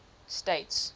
states